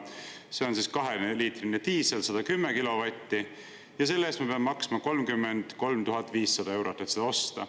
See on kaheliitrise diisel, 110 kilovatti, selle eest peame maksma 33 500 eurot, et seda osta.